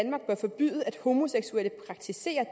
homoseksuelle praktiserer